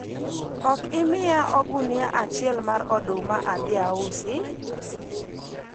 ok imiya ogunia achiel mar oduma adhi ausi?